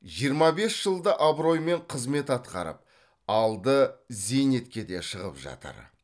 жиырма бес жылда абыроймен қызмет атқарып алды зейнетке де шығып жатыр